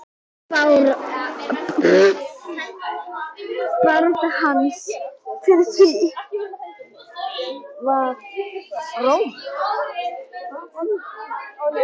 Barátta hans fyrir því var rómuð.